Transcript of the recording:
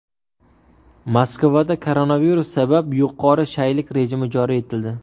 Moskvada koronavirus sabab yuqori shaylik rejimi joriy etildi.